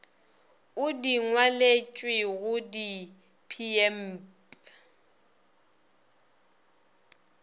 o di ngwaletšwego di pmb